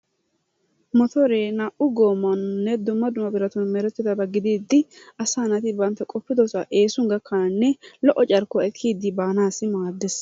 Motoree naa"u goommaaninne dumma dumma biratatuppe meretidaaga gidiidi asaa naati bantta qoppiddo saa eesuwan gakkananne lo"o carkkuwa ekkiidi baanaassi maaddees.